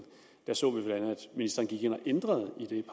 at ministeren gik ind og ændrede i det